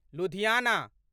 Ludhiana